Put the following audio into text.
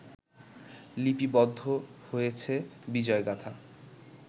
লিপিবদ্ধ হয়েছে বিজয়গাথা